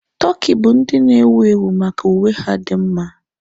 Tokii bụ ndi na ewu ewu maka uwe ha dị mma.